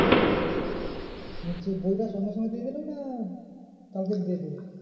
মানে check বইটা সঙ্গে সঙ্গে দিয়ে দিলো না কালকে দিয়ে দেবে?